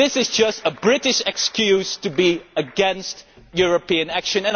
This is just a British excuse to be against European action.